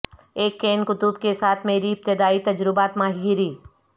ایک کین قطب کے ساتھ میری ابتدائی تجربات ماہی گیری